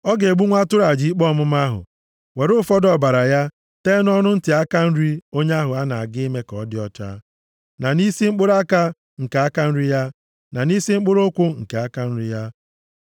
Ọ ga-egbu nwa atụrụ aja ikpe ọmụma ahụ, were ụfọdụ ọbara ya tee nʼọnụ ntị aka nri onye ahụ a na-aga ime ka ọ dị ọcha, na nʼisi mkpụrụ aka nke aka nri ya, na nʼisi mkpụrụ ụkwụ nke aka nri ya.